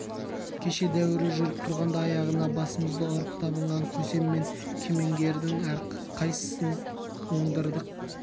кеше дәуірі жүріп тұрғанда аяғына басымызды ұрып табынған көсем мен кемеңгердің қайсысын оңдырдық